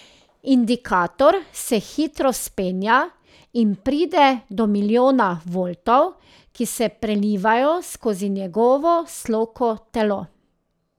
Indikator se hitro vzpenja in pride do milijona voltov, ki se prelivajo skozi njegovo sloko telo.